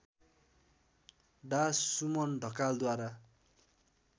डा सुमन ढकालद्वारा